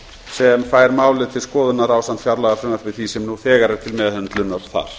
sem fær málið til skoðunar ásamt fjárlagafrumvarpi því sem nú þegar er til meðhöndlunar þar